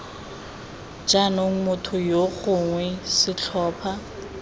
jaanong motho yo gongwe setlhopha